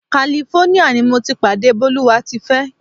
California ni mo ti pàdé Bólúwátifẹ́.